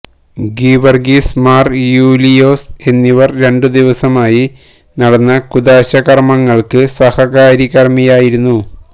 ഗീവര്ഗീസ് മാര് യൂലിയോസ് എന്നിവര് രണ്ടുദിവസമായി നടന്ന കൂദാശ കര്മ്മങ്ങള്ക്ക് സഹകാര്മികരായിരുന്നു